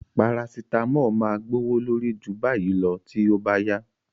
Parasitamọ́ọ̀ máa gbówó lórí ju báyìí lọ tí ó bá yá